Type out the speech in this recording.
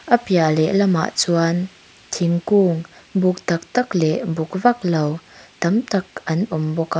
a piah lehlam ah chuan thingkung buk tak tak leh buk vaklo tam tak an awm bawk a.